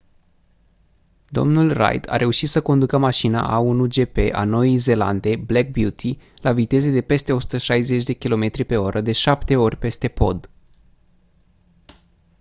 dl reid a reușit să conducă mașina a1 gp a noii zeelande black beauty la viteze de peste 160 km/oră de șapte ori peste pod